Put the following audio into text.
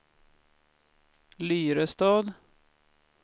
Lyrestad